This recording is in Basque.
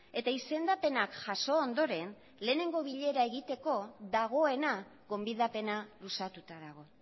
eta izendapenak jaso ondoren lehenengo bilera egiteko dagoena gonbidapena luzatuta dago